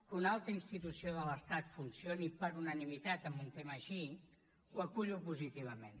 que una alta institució de l’estat funcioni per unanimitat en un tema així ho acullo positivament